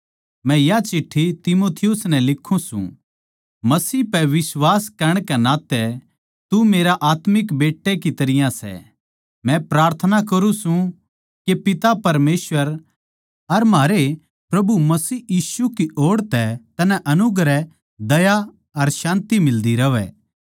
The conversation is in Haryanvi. मै या चिट्ठी तीमुथियुस नै लिखूँ सूं मसीह पै बिश्वास करण के नाते तू मेरे आत्मिक बेट्टे की तरियां सै मै प्रार्थना करुँ सूं के पिता परमेसवर अर म्हारै प्रभु मसीह यीशु की ओड़ तै तन्नै अनुग्रह दया अर शान्ति मिलदी रहवै